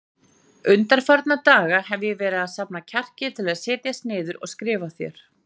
Undanfarna daga hef ég verið að safna kjarki til að setjast niður og skrifa þér.